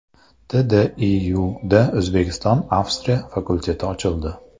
TDIUda O‘zbekistonAvstriya fakulteti ochildi.